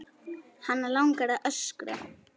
Hana langar að öskra.